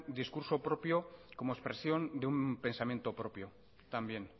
discurso propio como expresión de un pensamiento propio también